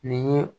Nin ye